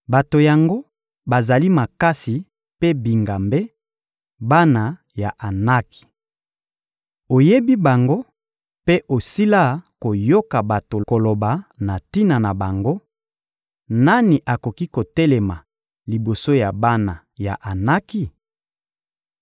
Bato yango bazali makasi mpe bingambe, bana ya Anaki! Oyebi bango mpe osila koyoka bato koloba na tina na bango: «Nani akoki kotelema liboso ya bana ya Anaki?»